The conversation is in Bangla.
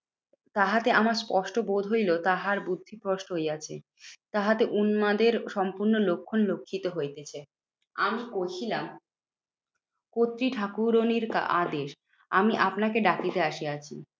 তাহাতে আমার স্পষ্ট বোধ হইলো তাহার বুদ্ধিভ্রষ্ট হইয়াছে। তাহাতে উন্মাদের সম্পূর্ণ লক্ষণ লক্ষিত হইতেছে। আমি কহিলাম কর্ত্রী ঠাকুরনীর আদেশ আমি আপনাকে ডাকিতে আসিয়াছি।